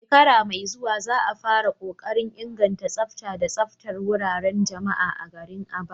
A shekara mai zuwa za a fara kokarin inganta tsafta da tsaftar wuraren jama'a a garin Aba.